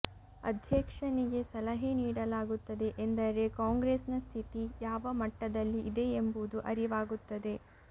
ಅಧ್ಯಕ್ಷನಿಗೆ ಸಲಹೆ ನೀಡಲಾಗುತ್ತದೆ ಎಂದರೆ ಕಾಂಗ್ರೆಸ್ ನ ಸ್ಥಿತಿ ಯಾವ ಮಟ್ಟದಲ್ಲಿ ಇದೆ ಎಂಬುದು ಅರಿವಾಗುತ್ತದೆ